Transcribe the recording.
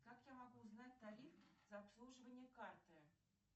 как я могу узнать тариф за обслуживание карты